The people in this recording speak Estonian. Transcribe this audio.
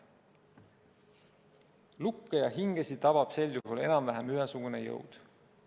Lukke ja hingesid tabab sel juhul enam-vähem ühesugune jõud.